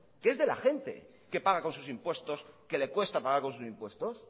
que es de la gente que paga con sus impuestos que le cuesta pagar con sus impuestos